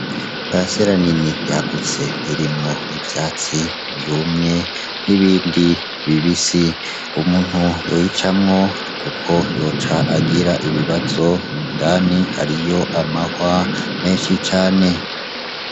Parisela nini yagutse irimwo ivyatsi vyumye n'ibindi bibisi, umuntu yoyicamwo kuko yoca agira ibibazo indani hariyo amahwa menshi cane.